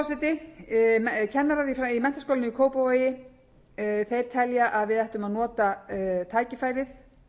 forseti kennarar í menntaskólanum í kópavogi þeir telja að við ættum að nota tækifærið